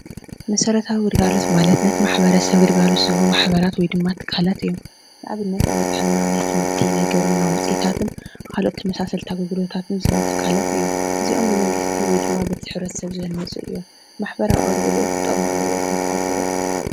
መሰረታዊ ግልጋሎት ማለት ነቲ ማሕበረሰብ ግልጋሎት ዝህቡ ማሕበራት ወይ ድማ ትካላት እዮም፡፡ ንኣብነት ናይ ጥዕና ፣ናይ ትምህርቲ፣ ናይ ግብርና ውፅኢታትን ካልኦት ተመሳሰልቲ ኣገልግሎታትን ዝህቡ ትካላት እዮም፡፡ እዚኦም ብመንግስቲ ወይ ድማ በቲ ሕብረተሰብ ዝህነፁ እዮም፡፡ ማሕበራዊ ኣገልግሎት ጥቅሚ ኣለዎ ኢልኩም ትሓስቡ ዶ?